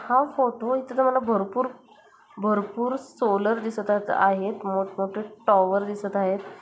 हा फोटो इथनं मला भरपूर भरपूर सोलर दिसतात आहेत मोठ-मोठे टॉवर दिसत आहेत.